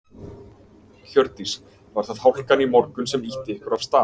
Hjördís: Var það hálkan í morgun sem að ýtti ykkur af stað?